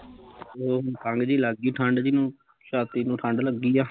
ਉਹ ਖਘ ਜਹੀ ਲੱਗ ਗਈ ਠੰਡ ਜਹੀ ਨੂੰ ਛਾਤੀ ਨੂੰ ਠੰਡ ਲੱਗੀ ਆ